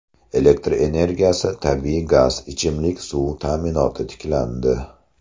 Elektr energiyasi, tabiiy gaz, ichimlik suv ta’minoti tiklandi.